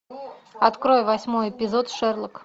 открой восьмой эпизод шерлок